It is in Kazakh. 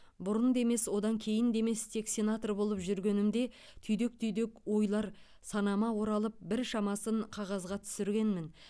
бұрын да емес одан кейін де емес тек сенатор болып жүргенімде түйдек түйдек ойлар санама оралып біршамасын қағазға түсіргенмін